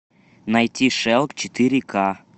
найти шелк четыре ка